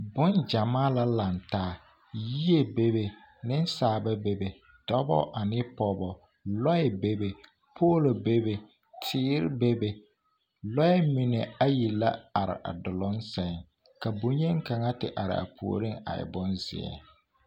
Boŋgyɛmaa la lantaa, yie bebe, nensaaba bebe dɔbɔ ane pɔgebɔ, lɔɛ bebe, poolo bebe, teere bebe, lɔɛ mine ayi la are a duluŋ sɛŋ ka bonyeni kaŋa a te are a puoriŋ a e bonzeɛ.